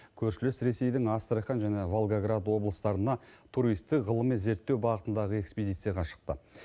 көршілес ресейдің астрахань және волгаград облыстарына туристік ғылыми зерттеу бағытындағы экспдицияға шықты